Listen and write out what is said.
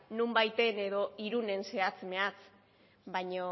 nonbaiten edo irunen zehatz mehats baina